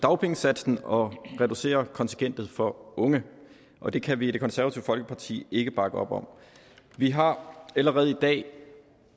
dagpengesatsen og reducere kontingentet for unge og det kan vi i det konservative folkeparti ikke bakke op om vi har allerede i dag